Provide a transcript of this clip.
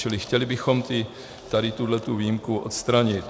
Čili chtěli bychom tady tuto výjimku odstranit.